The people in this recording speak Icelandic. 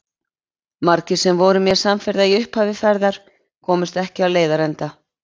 Margir sem voru mér samferða í upphafi ferðar komust ekki á leiðarenda.